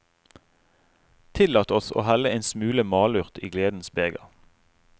Tillat oss å helle en smule malurt i gledens beger.